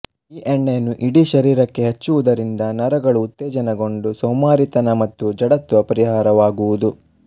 ಈ ಎಣ್ಣೆಯನ್ನುಇಡೀ ಶರೀರಕ್ಕೆ ಹಚ್ಚುವುದರಿಂದ ನರಗಳು ಉತ್ತೇಜನಗೊಂಡು ಸೋಮಾರಿತನ ಮತ್ತು ಜಡತ್ವ ಪರಿಹಾರವಾಗುವುದು